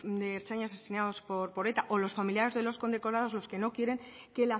de ertzainas asesinados por eta o los familiares de los condecorados los que no quieren que